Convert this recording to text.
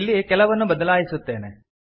ಇಲ್ಲಿ ಕೆಲವನ್ನು ಬದಲಾಯಿಸುತ್ತೇನೆ